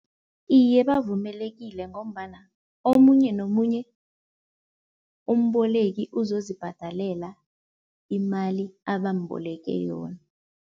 Iye bavumelekile ngombana omunye nomunye umboleki uzozibhadalela imali abamboleke yona.